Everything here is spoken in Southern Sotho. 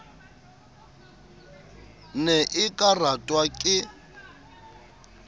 ne e ka ratwa ke